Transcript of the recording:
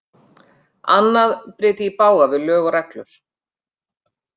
Annað bryti í bága við lög og reglur.